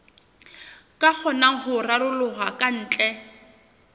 ka kgonang ho raroloha kantle